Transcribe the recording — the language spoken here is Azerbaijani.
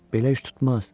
Belə iş tutmaz.